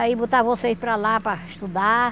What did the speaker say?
Aí botar vocês para lá para estudar.